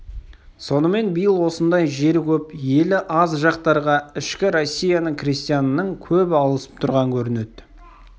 сонымен биыл осындай жері көп елі аз жақтарға ішкі россияның-крестьянының көбі ауысып тұрған көрінеді